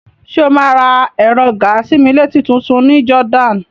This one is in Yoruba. Ṣé o máa ra ẹ̀rọ gàa-sí-mí-létí tutun ní Jordan?